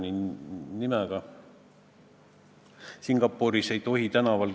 Mõned ilmselt arvavad, et 640 eurot on ka mõjus, ja mõned arvavad, et tegelikult seadusrikkujaid ei ole vaja tähele panna.